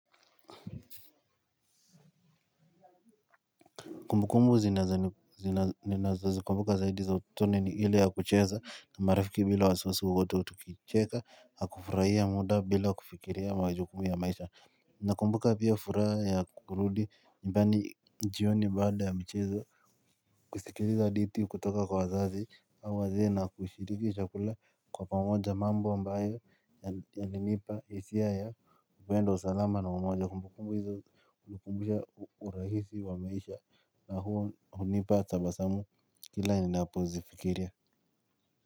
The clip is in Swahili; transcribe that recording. Kumbu kumbu ninazo zikumbuka zaidi za utotoni ni ile ya kucheza na marafiki bila wasi wasi wowote tukicheza na kufurahia muda bila kufikiria majukumu ya maisha. Nakumbuka pia furaha ya kurudi nyumbani jioni baada ya mchezo kusikiliza hadithi kutoka kwa wazazi na wazee na kushiriki chakula kwa pamoja mambo ambayo yana nipa hisia ya upendo salama na umoja kumbukumbu hizo hunikumbusha urahisi wa maisha. Na hunipa tabasamu kila ninapo zifikiria.